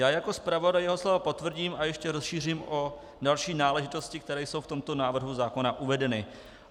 Já jako zpravodaj jeho slova potvrdím a ještě rozšířím o další náležitosti, které jsou v tomto návrhu zákona uvedeny.